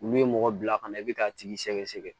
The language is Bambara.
Olu ye mɔgɔ bila ka na i bɛ k'a tigi sɛgɛsɛgɛ